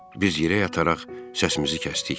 Biz yerə yataraq səsimizi kəsdik.